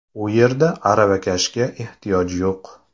U yerda aravakashga ehtiyoj yo‘q.